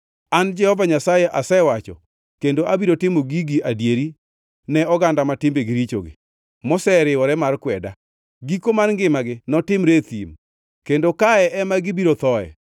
An, Jehova Nyasaye, asewacho, kendo abiro timo gigi adieri ne oganda ma timbegi richogi, moseriwore mar kweda. Giko mar ngimagi notimre e thim; kendo kae ema gibiro thoe.”